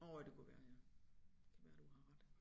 Åh det kunne være ja kan være du har ret